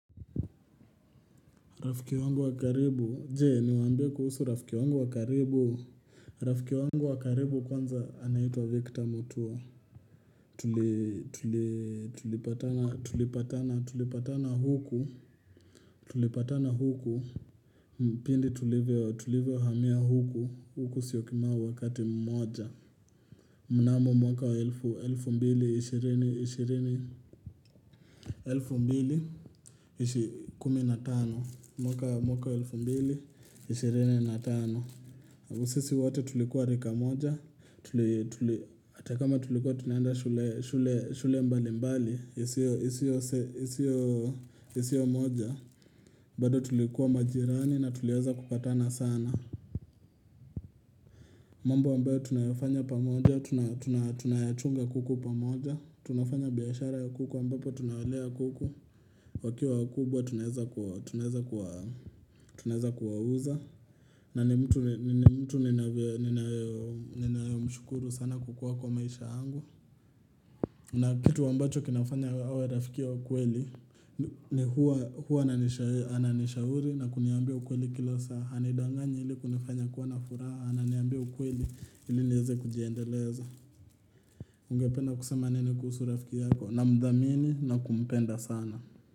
Rafiki wangu wa karibu, jee niwaambie kuhusu rafiki wangu wakaribu? Rafiki wangu wa karibu kwanza anaitwa Victor Mutua. Tuli Tulipatana huku, tulipatana huku, pindi tulivyo tulivyo hamia huku, huku Syokimau wakati mmoja mnamo mwaka wa elfu, elfu mbili, ishirini, ishirini. Elfu mbili, ishi kumi na tano. Mwaka wa elfu mbili, ishirini na tano. Sisi wote tulikuwa rika moja. Atakama tulikuwa tunaanda shule, shule mbali mbali, isiyo isiyo moja. Bado tulikuwa majirani na tulianza kupatana sana. Mambo ambayo tunayofanya pamoja, tunayachunga kuku pamoja. Tunafanya biashara ya kuku ambapo tunawelea kuku. Wakiwa wakubwa tunaeza kuwa, tunaeza kuwa, tunaeza kuwauza. Na ni mtu, ni mtu nina mshukuru sana kukua kwa maisha angu na kitu ambacho kinamfanya awe rafikia wa kweli. Ni huwa, huwa ananishauri na kuniambia ukweli kila saa hanidanganyi ili kunifanya kuwa na furaha Ananiambia ukweli ili niweze kujiendeleza. Ungependa kusema nini kusu rafiki yako? Namdhamini na kumpenda sana.